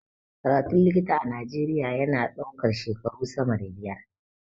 Karatun likita a najeria ya na ɗaukan shekaru sama da biyar